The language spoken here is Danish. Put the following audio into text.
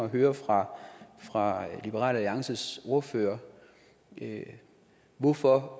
at høre fra fra liberal alliances ordfører hvorfor